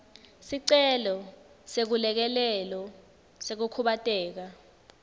sicelo seselekelelo sekukhubateka